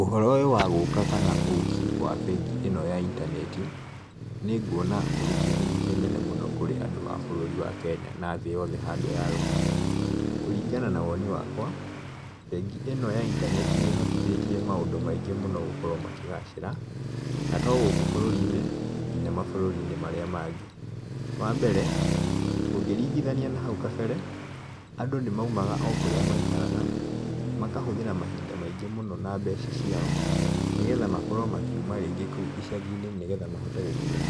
Ũhoro ũyũ wa gũka kana ũki wa bengi ĩno ya intaneti, nĩ nguona ũrĩ kĩguni kĩnene mũno kũrĩ andũ a bũrũri wa Kenya na thĩ yothe handũ ya rũma, kũringana na woni wakwa, bengi ĩno ya intaneti nĩ ĩhotithĩtie maũndũ maingĩ mũno makĩgacĩra, na to gũkũ bũrũri-inĩ , ona mabũrũri mau mangĩ, wa mbere ũngĩringithania na hau kambere, andũ nĩ maumaga o kũrĩa maikaraga, makahũthĩra mahinda maingĩ na mbeca ciao , nĩgethaĩ makorwo makiuma icagi-inĩ nĩgetha mahotee gũkinya